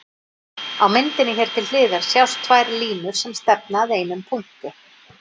Á myndinni hér til hliðar sjást tvær línur sem stefna að einum punkti.